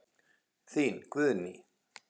Þín Guðný.